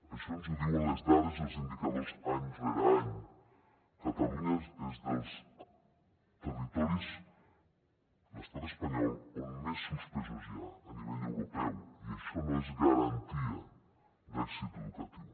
això ens ho diuen les dades i els indicadors any rere any catalunya és dels territoris de l’estat espanyol on més suspesos hi ha a nivell europeu i això no és garantia d’èxit educatiu